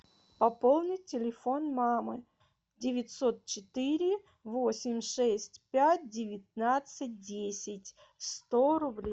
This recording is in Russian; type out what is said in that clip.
пополнить телефон мамы девятьсот четыре восемь шесть пять девятнадцать десять сто рублей